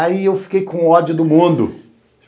Aí eu fiquei com ódio do mundo.